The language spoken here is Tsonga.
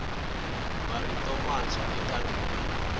marito mantshwa eka ririmi